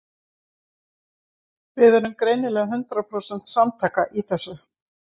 Við erum greinilega hundrað prósent samtaka í þessu.